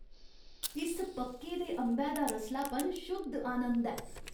इस पक्के दे अंबै दा रसलापन शुद्ध आनंद ऐ।